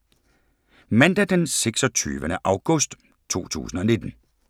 Mandag d. 26. august 2019